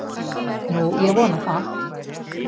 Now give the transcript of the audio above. Nú, ég vona það.